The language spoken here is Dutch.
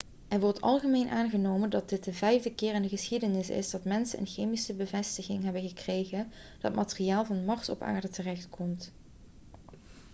er wordt algemeen aangenomen dat dit de vijfde keer in de geschiedenis is dat mensen een chemische bevestiging hebben gekregen dat materiaal van mars op aarde terechtkomt